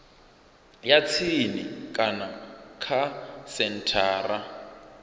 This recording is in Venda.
ya tsini kana kha senthara